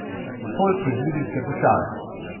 Folk iz Libijske puščave.